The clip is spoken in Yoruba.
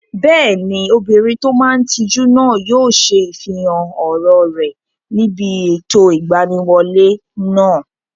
Bẹ́ẹ̀ni, obìnrin tó máa n tijú náà yóò ṣe ifihàn ọ̀rọ̀ rẹ̀ níbi ètò ìgbaniwọlé náà